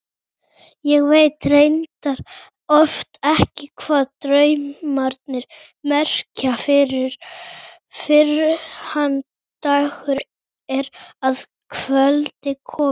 Ég veit reyndar oft ekki hvað draumarnir merkja fyrr en dagur er að kveldi kominn.